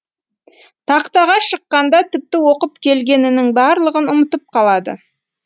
тақтаға шыққанда тіпті оқып келгенінің барлығын ұмытып қалады